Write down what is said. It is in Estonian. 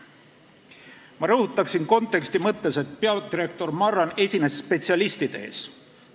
Ma rõhutan konteksti mõttes, et peadirektor Marran esines spetsialistide ees.